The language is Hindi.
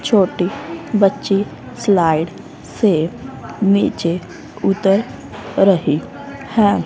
छोटी बच्ची स्लाइड से नीचे उतर रही हैं।